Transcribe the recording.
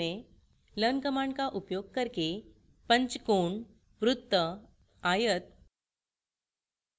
learn command का उपयोग करके पंचभुज pentagonवृत्त square आयत rectangle